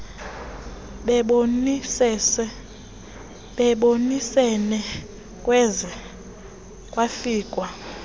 bebonisene kwaze kwafikwa